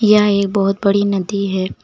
यह एक बहोत बड़ी नदी है।